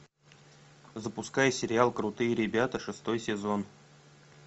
запускай сериал крутые ребята шестой сезон